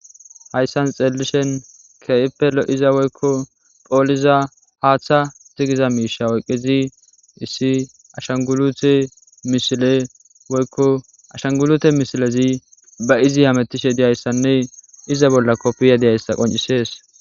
hayssan xeellishen kee7eppe lo7iza woykko phooliza haaththa zigiza miisha woyqqizi issi ashanguute misileoykoashangulute misilezi ba izi hamettishe diyayssanne iza bolla koppiya deyayssa qoncisees